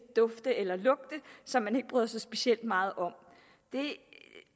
dufte eller lugte som man ikke bryder sig specielt meget om det